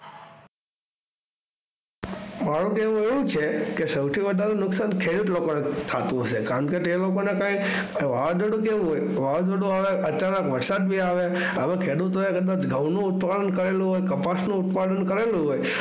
મારુ કહેવું એ છે સૌથી વધારે નુકસાન ખેડૂત લોકોને થાતું હશે કારણકે તે લોકોને કઈ વાદરડું કેવું હોય? વાંદરડું આવે અચાનક વરસાદ બી આવે. હવે ખેડૂતોએ કદાચ ઘઉંનું ઉત્પાદન કરેલું હોય, કપાસનું ઉત્પાદન કરેલું હોય.